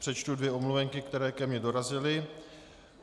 Přečtu dvě omluvenky, které ke mně dorazily.